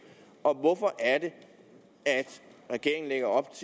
og at det er